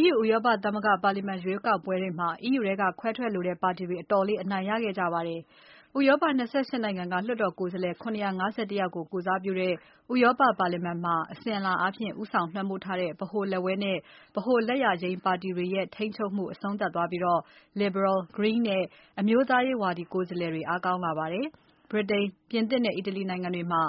EU ဥရောပသမဂ္ဂပါလီမာန် ရွေးကောက်ပွဲတွေမှာ EU ထဲက ခွဲထွက်လိုတဲ့ပါတီတွေ အတော်လေးအနိုင်ရခဲ့ပါတယ်။ ဥရောပ ၂၈ နိုင်ငံက လွှတ်တော်ကိုယ်စားလှယ် ၇၅၁ ယောက် ကိုယ်စားပြုတဲ့ ဥရောပပါလီမာန်မှာ အစဉ်အလာအားဖြင့် ဦးဆောင် လွှမ်းမိုးထားတဲ့ ဗဟိုလက်ဝဲနဲ့ ဗဟိုလက်ယာယိမ်းပါတီတွေရဲ့ ထိန်းချုပ်မှု အဆုံးသတ်သွားပြီး Liberal၊ Green နဲ့ အမျိုးသားရေးဝါဒီ ကိုယ်စားလှယ်တွေ အားကောင်းလာပါတယ်။ ဗြိတိန်၊ ပြင်သစ်နဲ့ အီတလီနိုင်ငံတွေမှာ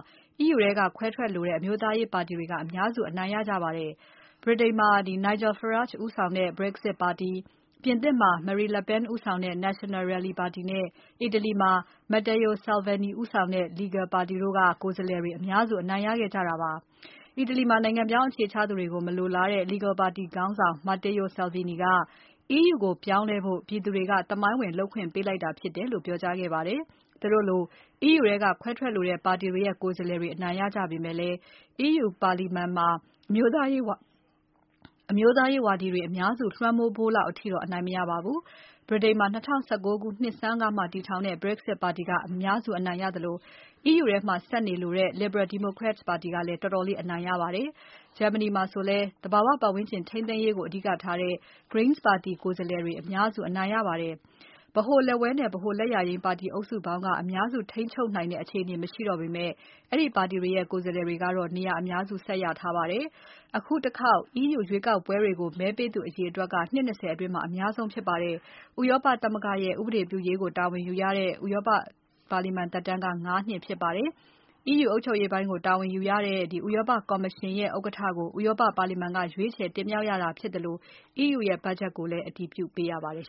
EU ထဲက ခွဲထွက်လိုတဲ့ အမျိုးသားရေး ပါတီတွေက အများစု အနိုင်ရပါတယ်။ ဗြိတိန်မှာ Nigel Farage ဦးဆောင်တဲ့ Brexit ပါတီ၊ ပြင်သစ်မှာ Marine Le Pen ဦးဆောင်တဲ့ National Rally ပါတီနဲ့ အီတလီမှာ Matteo Salvini ဦးဆောင်တဲ့ Lega ပါတီတို့က ကိုယ်စားလှယ်တွေ အများစု အနိုင်ရခဲ့ကြတာပါ။ အီတလီမှာ နိုင်ငံပြောင်း အခြေချသူတွေကို မလိုလားတဲ့ Lega ပါတီ ခေါင်းဆောင် Matteo Salvini က EU ကိုပြောင်းလဲဖို့ ပြည်သူတွေက သမိုင်းဝင် လုပ်ပိုင်ခွင့် ပေးလိုက်တာ ဖြစ်တယ်လို့ ပြောကြားခဲ့ပါတယ်။ သူတို့လို EU ထဲက ခွဲထွက်လိုတဲ့ ပါတီတွေရဲ့ ကိုယ်စားလှယ်တွေ အနိုင်ရကြပေမဲ့ EU ပါလီမာန်မှာ အမျိုးသားရေးဝါဒီတွေ အများစုလွှမ်းမိုးဖို့လောက်အထိတော့ အနိုင်မရပါဘူး။ ဗြိတိန်မှာ ၂၀၁၉ နှစ်ဆန်းကမှ တည်ထောင်တဲ့ Brexit ပါတီက အများစု အနိုင်ရခဲ့သလို EU ထဲမှာ ဆက်နေလိုတဲ့ Liberal Democrats ပါတီကလည်း တော်တော်လေး အနိုင်ရပါတယ်။ Germany မှာဆိုလည်း သဘာဝပါတ်ဝန်းကျင် ထိန်းသိမ်းရေးကို အဓိကထားတဲ့ Greens ပါတီ ကိုယ်စားလှယ်တွေက အများစု အနိုင်ရပါတယ်။ ဗဟိုလက်ဝဲနဲ့ ဗဟိုလက်ယာယိမ်းပါတီအုပ်စုပေါင်းက အများစုထိန်းချုပ်နိုင်တဲ့အခြေအနေ မရှိတော့ပေမဲ့ အဲ့ဒီပါတီတွေရဲ့ ကိုယ်စားတွေကတော့ နေရာအများစု ဆက်ရထားပါတယ်။ အခုတခေါက် EU ရွေးကောက်ပွဲတွေကို မဲပေးသူအရေအတွက်ဟာ နှစ် ၂၀ အတွင်း အများဆုံး ဖြစ်ပါတယ်။ ဥရောပသမဂ္ဂရဲ့ ဥပဒေပြုရေးကို တာဝန်ယူရတဲ့ ဥရောပလွှတ်တော်သက်တမ်းက ၅ နှစ် ဖြစ်ပါတယ်။ EU အုပ်ချုပ်ရေးပိုင်းကို တာဝန်ယူရတဲ့ ဥရောပကော်မရှင်ရဲ့ ဥက္ကဋ္ဌကို ဥရောပပါလီမာန်က ရွေးချယ်တင်မြှောက်ရတာဖြစ်သလို EU ရဲ့ဘတ်ချက်ကိုလည်း အတည်ပြုပေးရပါတယ်